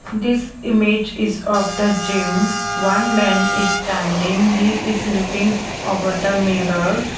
this image is of the gym one man is standing he is looking over the mirror.